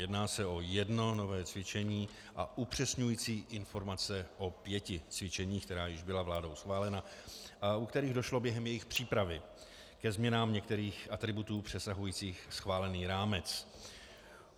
Jedná se o jedno nové cvičení a upřesňující informace o pěti cvičeních, která již byla vládou schválena a u kterých došlo během jejich přípravy ke změnám některých atributů přesahujících schválený rámec.